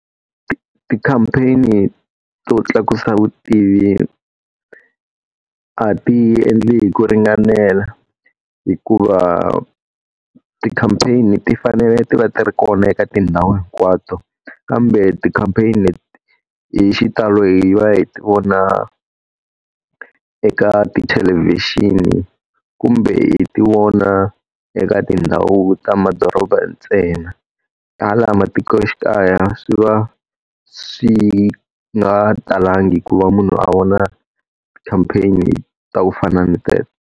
Ti-campaign-i to tlakusa vutivi a ti endliwi hi ku ringanela. Hikuva ti-campaign-i ti fanele ti va ti ri kona eka tindhawu hinkwato. Kambe ti-campaign-i leti hi xitalo hi va hi vona eka tithelevhixini kumbe hi ti vona eka tindhawu ta madorobeni ntsena. Hala matikoxikaya swi va swi nga talangi ku va munhu a vona ti-campaign-i ta ku fana ni teto.